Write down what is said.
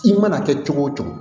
I mana kɛ cogo o cogo